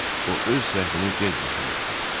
O öz səhvini gec başa düşdü.